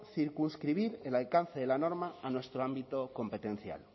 circunscribir el alcance de la norma a nuestro ámbito competencial